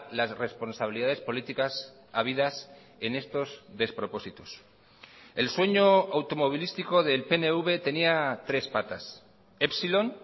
las responsabilidades políticas habidas en estos despropósitos el sueño automovilístico del pnv tenía tres patas epsilon